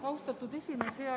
Austatud esimees!